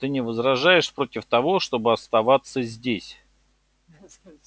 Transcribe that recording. ты не возражаешь против того чтобы оставаться здесь